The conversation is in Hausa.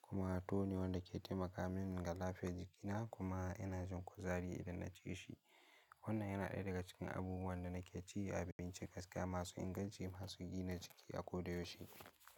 kuma tuwo ne wanda ke taimaka min ga lafiyar jikina kuma ina jin kuzari idan na ci shi. Wannan yana ɗaya daga cikin abubuwan da na ke ci a abinci gaskiya masu inganci masu gina jiki a koyaushe.